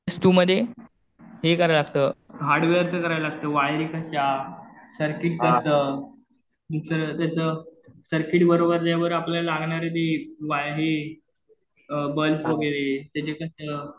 CS two मध्ये हे करावं लागतं, हार्डवेअरचं करायला लागतं. वायरिंग कशा, सर्किट कसं, त्याचं सर्किट बरोबर आपल्याला लागणारे ते वायर ते बल्प वगैरे तर ते कसं